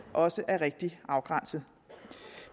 også er rigtigt afgrænset